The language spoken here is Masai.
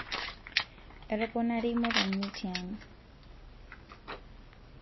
etoponari imotonyi tiang